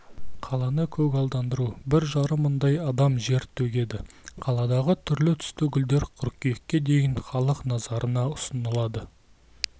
қаланы көгалдандыруға бір жарым мыңдай адам тер төгеді қаладағы түрлі-түсті гүлдер қыркүйекке дейін халық назарына ұсынылады